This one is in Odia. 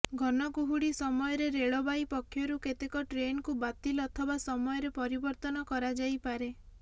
ଘନ କୁହୁଡି ସମୟରେ ରେଳବାଇ ପକ୍ଷରୁ କେତେକ ଟ୍ରେନକୁ ବାତିଲ ଅଥବା ସମୟରେ ପରିବର୍ତ୍ତନ କରାଯାଇପରେ